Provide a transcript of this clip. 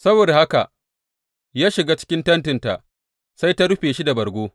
Saboda haka ya shiga cikin tentinta, sai ta rufe shi da bargo.